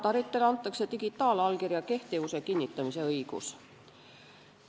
Samuti antakse notaritele digitaalallkirja kehtivuse kinnitamise õigus.